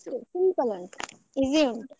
ಅಷ್ಟೆ simple ಆ, easy ಉಂಟು.